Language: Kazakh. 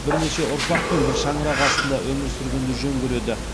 бірнеше ұрпақпен бір шаңырақ астында өмір сүргенді жөн көреді